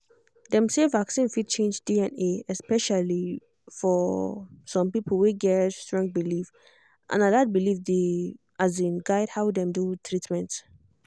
dem say vaccine fit change dna especially um some people wey get strong belief and na dat belief dey um guide how dem do treatment